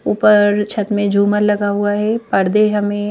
ऊपर छत में झूमर लगा हुआ है पर्दे हमें--